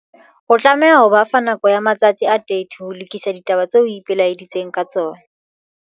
O tlameha ho ba fa nako ya matsatsi a 30 ho lokisa ditaba tseo o ipelaeditseng ka tsona.